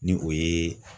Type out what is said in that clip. Ni o ye